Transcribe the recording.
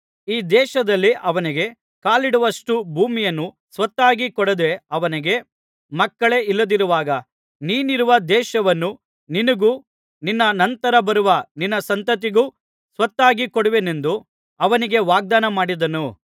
ಈ ದೇಶದಲ್ಲಿ ಅವನಿಗೆ ಕಾಲಿಡುವಷ್ಷ್ಟು ಭೂಮಿಯನ್ನು ಸ್ವತ್ತಾಗಿ ಕೊಡದೆ ಅವನಿಗೆ ಮಕ್ಕಳೇ ಇಲ್ಲದಿರುವಾಗ ನೀನಿರುವ ದೇಶವನ್ನು ನಿನಗೂ ನಿನ್ನ ನಂತರ ಬರುವ ನಿನ್ನ ಸಂತತಿಗೂ ಸ್ವತ್ತಾಗಿ ಕೊಡುವೆನೆಂದು ಅವನಿಗೆ ವಾಗ್ದಾನಮಾಡಿದನು